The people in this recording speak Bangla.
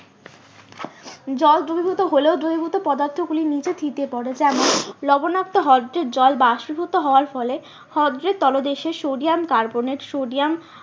জল দ্রবীভূত হলেও দ্রবীভূত পদার্থ গুলি নিচে থিতিয়ে পরে যেমন লবনাক্ত হ্রদের জল বাষ্পিভূত হওয়ার ফলে হ্রদটির তলদেশে সোডিয়াম কার্বনের সোডিয়াম